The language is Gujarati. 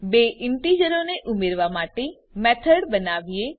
બે ઈન્ટીજરોને ઉમેરવા માટે ચાલો મેથડ બનાવીએ